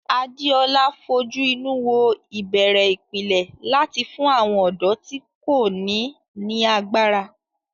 Adeola fojú inú wo ìbẹ̀rẹ̀ ìpìlẹ̀ láti fún àwọn ọ̀dọ́ tí kò ní ní agbára.